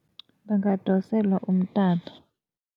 Bangadoselwa umtato.